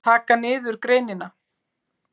Taka niður greinina?